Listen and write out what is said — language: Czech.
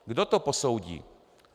Kdo to posoudí?